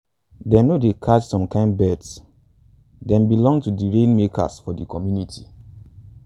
them no dey catch some kin birds - them belong to di rainmakers for the community.